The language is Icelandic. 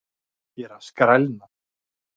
Ég er að skrælna!